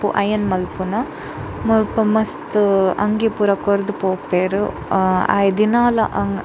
Iron ಮನ್ಪುನ ಮುಲ್ಪ ಮಸ್ತ್ ಅಂಗಿ ಪೂರ ಕೊರ್ದು ಪೋಪೆರ್ ಅ ಆಯೆ ದಿನಾಲ.